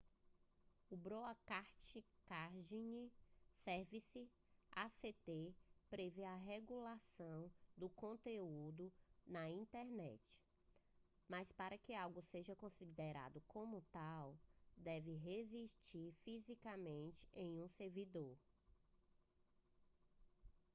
o broadcasting services act prevê a regulação do conteúdo na internet mas para que algo seja considerado como tal deve residir fisicamente em um servidor